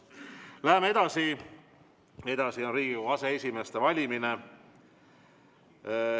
Läheme edasi: Riigikogu aseesimeeste valimine.